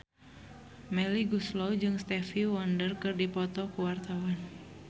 Melly Goeslaw jeung Stevie Wonder keur dipoto ku wartawan